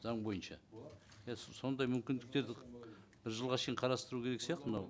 заң бойынша иә сондай мүмкіндіктерді бір жылға шейін қарастыру керек сияқты мынау